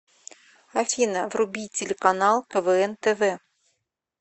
афина вруби телеканал квн тв